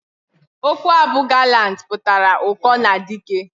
Okwu a bu "gallant" putara uko na dike.